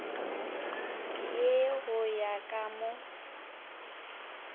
ye go ya ka mo